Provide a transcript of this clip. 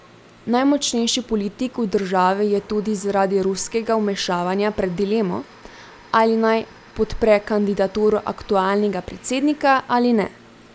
Najmočnejši politik v državi je tudi zaradi ruskega vmešavanja pred dilemo, ali naj podpre kandidaturo aktualnega predsednika ali ne.